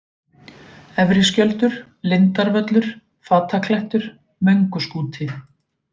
Efri-Skjöldur, Lindarvöllur, Fataklettur, Mönguskúti